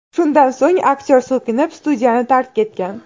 Shundan so‘ng aktyor so‘kinib, studiyani tark etgan.